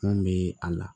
Mun be a la